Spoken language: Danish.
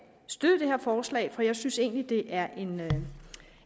støtte det her forslag for jeg synes egentlig det er